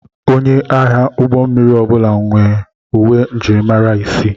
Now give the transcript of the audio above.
Onye agha ụgbọ mmiri ọbụla nwere uwe njirimara isii.